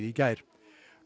í gær